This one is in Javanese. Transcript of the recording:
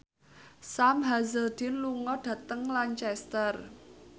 Sam Hazeldine lunga dhateng Lancaster